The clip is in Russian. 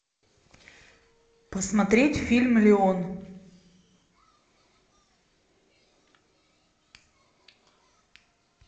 посмотреть фильм леон